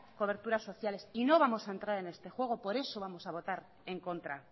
coberturas sociales y no vamos a entrar en este juego por eso vamos a botar en contra